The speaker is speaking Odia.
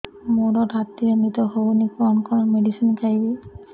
ମୋର ରାତିରେ ନିଦ ହଉନି କଣ କଣ ମେଡିସିନ ଖାଇବି